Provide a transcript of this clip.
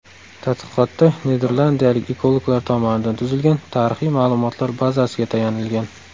Tadqiqotda niderlandiyalik ekologlar tomonidan tuzilgan tarixiy ma’lumotlar bazasiga tayanilgan.